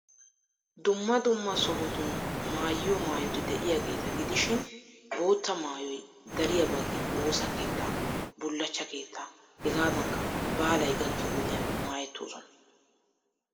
Dumma dumma sohotun maayiyo maayoti de'iyageeta gidishin bootta maayoy dariya baggi woosa keettaa, bullachcha keettaa hegaadankka baalay gakkiyo wodiyan maayettoosona.